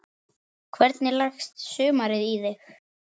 Hvernig leggst sumarið í þig?